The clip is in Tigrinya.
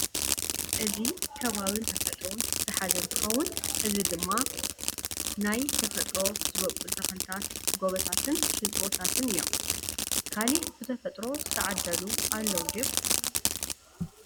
እዚ ከባባን ተፈጥሮን ዝሓዘ እንትከውን እዚ ድመ ድማ ናይ ተፍጥሮ ዝበቁሉ ተክሊታት ጎቦታትን ሽንጥሮታት እዮም። ካሊእ ብተፈጥሮ ዝተዓደሉ ኣለው ዲዮም ?